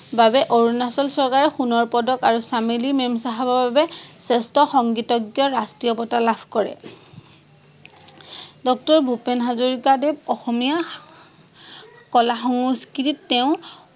বাবে অৰুনাচল চৰকাৰে সোনৰ পদক আৰু চামেলি মেমচাহাবৰ বাবে শ্ৰেষ্ঠ সংগীতজ্ঞৰ ৰাস্ত্ৰীয় বটা লাভ কৰে। ডক্টৰ ভূপেন হাজৰিকা দেৱ অসমীয়া কলা সংস্কৃতিত তেওঁ